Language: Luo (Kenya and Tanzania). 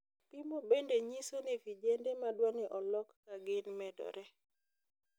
Pimo bende nyiso ni vijende madwani olok kagin medore.